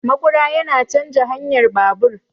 Maƙura yana canja hanyar babur